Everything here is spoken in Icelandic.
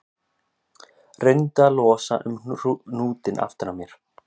Reyndu að losa um hnútinn aftan á mér